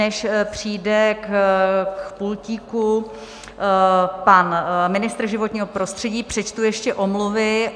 Než přijde k pultíku pan ministr životního prostředí, přečtu ještě omluvy.